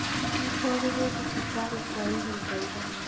Aatwarirũo thibitarĩ kwa ihinda iraya.